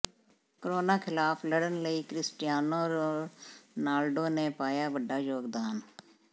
corona ਖਿਲਾਫ਼ ਲੜਨ ਲਈ ਕ੍ਰਿਸਟੀਆਨੋ ਰੋਨਾਲਡੋ ਨੇ ਪਾਇਆ ਵੱਡਾ ਯੋਗਦਾਨ